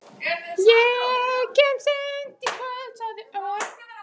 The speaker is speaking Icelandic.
Ég kem seinna í kvöld sagði Örn.